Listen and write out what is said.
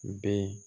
Bɛɛ